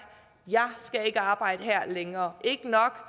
jeg skal ikke arbejde her længere ikke nok